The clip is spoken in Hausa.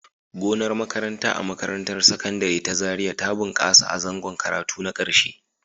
Gonar makaranta a makarantar Sakandare ta Zariya ta bunƙasa a zangon karatu na ƙarshe.